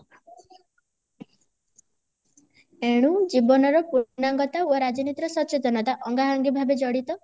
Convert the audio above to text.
ଏଣୁ ଜୀବନର ପୂର୍ଣାଙ୍ଗତା ଓ ରାଜନୀତିର ସଚେତନତା ଅଙ୍ଗାଅଙ୍ଗି ଭାବେ ଜଡିତ